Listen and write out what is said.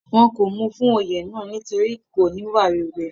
wọn kò mú u fún Oyè náà nítorí kò níwà rere